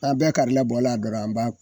N'a bɛɛ karila bɔ a dɔrɔn an b'a